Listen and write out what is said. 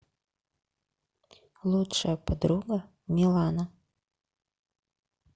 лучшая подруга милана